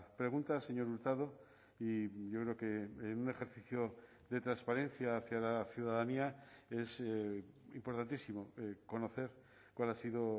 pregunta señor hurtado y yo creo que en un ejercicio de transparencia hacia la ciudadanía es importantísimo conocer cuál ha sido